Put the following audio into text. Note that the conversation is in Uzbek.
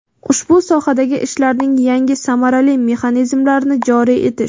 ushbu sohadagi ishlarning yangi samarali mexanizmlarini joriy etish;.